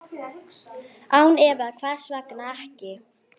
Án efa, hvers vegna ekki?